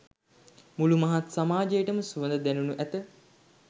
මුළු මහත් සමාජයටම සුවඳ දැනෙනු ඇත.